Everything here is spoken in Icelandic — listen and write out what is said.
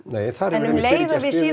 en um leið og við